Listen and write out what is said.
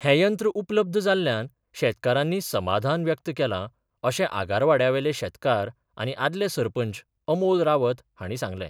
हे यंत्र उपलब्ध जाल्ल्यांन शेतकारांनी समाधान व्यक्त केलां अशें आगारवाड्यावेले शेतकार आनी आदले सरपंच अमोल रावत हांणी सांगलें.